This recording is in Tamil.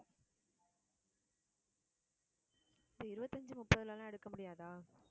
சரி இருபத்தி அஞ்சு, முப்பதுல எல்லாம் எடுக்க முடியாதா